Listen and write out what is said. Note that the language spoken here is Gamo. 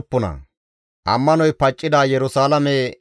GODAA qaalay taakko yiidi,